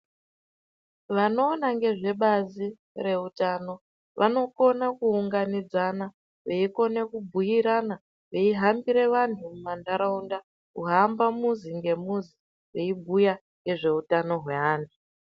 Vanoona ngezvebazi rezveutano vanokona kuunganidzana veikona kubhiirana veihambira vantu mumanharaunda kuhamba muzi ngemuzi veibhiya ngezveutano hweantu.